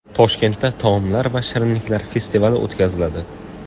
Toshkentda taomlar va shirinliklar festivali o‘tkaziladi .